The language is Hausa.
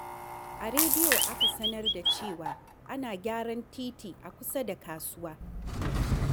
A rediyo aka sanar da cewa ana gyaran titi a kusa da kasuwa.